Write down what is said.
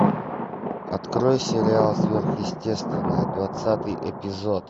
открой сериал сверхъестественное двадцатый эпизод